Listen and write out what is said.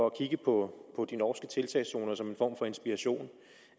at kigge på de norske tiltagszoner som en form for inspiration